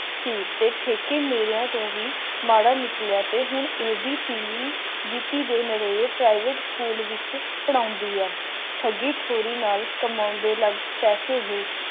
ਸੀ ਤੇ ਠੇਕਾ ਮਿਲਿਆ ਤੋਂ ਵੀ ਮਾੜਾ ਨਿਕਲਿਆ ਤੇ ਹੁਣ ਇਹਦੀ ਧੀਮੀ ਗਤੀ ਦੇਣ ਅਤੇ ਪ੍ਰਾਈਵੇਟ ਸਕੂਲ ਵਿੱਚ ਪੜ੍ਹਾਉਂਦੀ ਹੈ